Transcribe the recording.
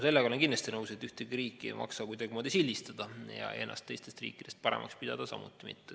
Sellega olen ma kindlasti nõus, et ühtegi riiki ei maksa kuidagimoodi sildistada ja ennast teistest riikidest paremaks pidada samuti mitte.